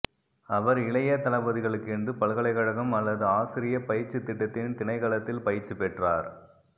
அவர் இளைய தளபதிகளுக்கென்று பல்கலைக்கழகம் அல்லது ஆசிரிய பயிற்சி திட்டத்தின் திணைக்களத்தில் பயிற்சி பெற்றார்